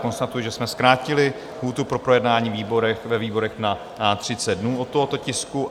Konstatuji, že jsme zkrátili lhůtu pro projednání ve výborech na 30 dnů u tohoto tisku.